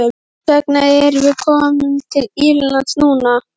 Og hvers vegna erum við komnir til Írlands núna?